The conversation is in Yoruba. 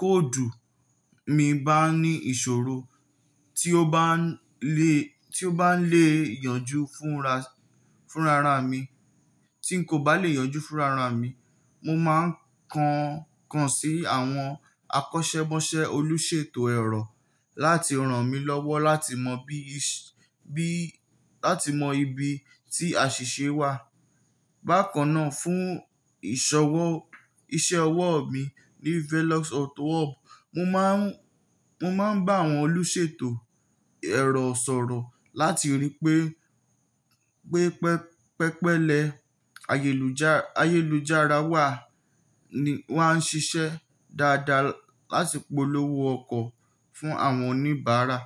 kóòdù mi bá ní ìṣòro tí ó bá lè yanjú fúnra ra mi, tí n kò bá lè yanjú fúnra ra mi, mo máa ń kan ń kan sí àwọn akọ́ṣẹ́mọṣẹ́ olùṣètò ẹ̀rọ láti rán mi lọ́wọ́ lati mọ bi láti mọ ibi tí àṣìṣe wà. Bákan náà, fún ise wo, ìṣe ọwọ́ mi ní Velox Auto Hub, mo máa ń bá àwọn olùṣètò ẹ̀rọ sọ̀rọ̀ láti rí pé pe pẹpẹlẹ ayeluja ayélujára wa wá ń ṣiṣẹ́ dáadáa láti polówó ọkọ̀ fún àwọn oníbàárà.